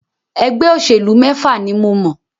Ẹgbẹ́ òṣèlú mẹ́fà ni mọ̀.